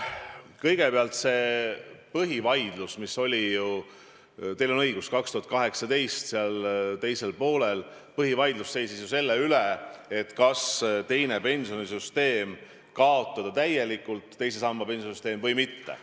Kõigepealt, see põhivaidlus, mis käis, teil on õigus, 2018. aasta teisel poolel, oli ju selle üle, kas teine pensionisammas kaotada täielikult või mitte.